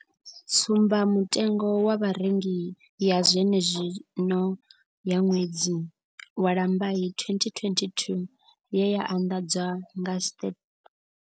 Tsumbamutengo wa vharengi ya zwenezwino ya ṅwedzi wa Lambai 2022 ye ya anḓadzwa nga Stats.